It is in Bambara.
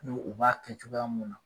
N'u u b'a kɛ cogoya mun na.